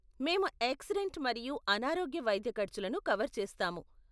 మేము ఏక్సిడెంట్ మరియు అనారోగ్య వైద్య ఖర్చులని కవర్ చేస్తాము.